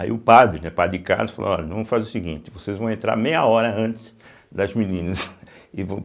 Aí o padre, né padre Cássio falou olha, vamos fazer o seguinte, vocês vão entrar meia hora antes das meninas e vo.